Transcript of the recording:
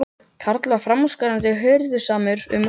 Karl var framúrskarandi hirðusamur um útgerð sína.